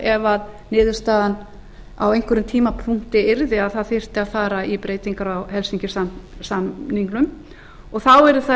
ef niðurstaðan á einhverjum tímapunkti yrði að að fara þyrfti í breytingar á helsinki sáttmálanum þá yrði það